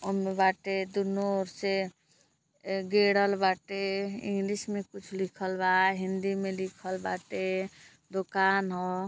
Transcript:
ओमे बाटे। दुनो ओर से अ गेड़ल बाटे। इंग्लिश में कुछ लिखल बा। हिन्दी में लिखल बाटे। दोकान ह।